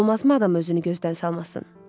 Olmazmı adam özünü gözdən salmasın?